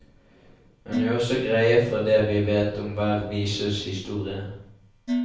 Hun gjør også greie for det vi vet om hver vises historie.